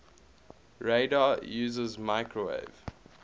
radar uses microwave